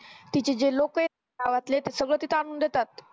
तिथे जे लोकयेतना गावातले ते सगळं तिथं आणून देतात